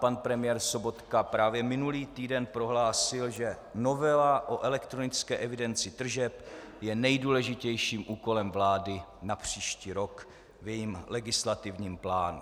Pan premiér Sobotka právě minulý týden prohlásil, že novela o elektronické evidenci tržeb je nejdůležitějším úkolem vlády na příští rok v jejím legislativním plánu.